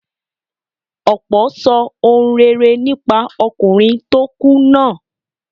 Ọ̀pọ̀ sọ ohun rere nípa ọkùnrin tó kú náà.